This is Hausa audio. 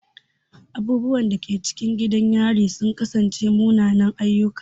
Abubuwan da ke cikin gidan yarin sun kasance munanan ayyuka.